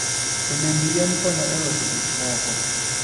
Olemb yien konyo e loso gik moko.